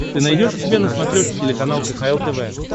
ты найдешь у себя на смотрешке телеканал кхл тв